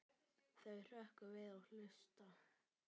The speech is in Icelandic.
Þau hrökkva við og hlusta.